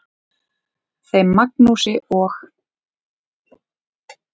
Þeim Magnúsi og